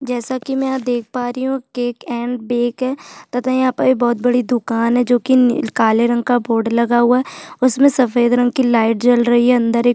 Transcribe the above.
जैसे की मै यहाँ देख पा रही हू केक एंड बेक है तथा यहाँ पर बहोत बड़ी दुकान है जो कि निल काले रंग का बोर्ड लगा हुआ है उसमे सफेद रंग कि लाईट जल रही है अंदर एक --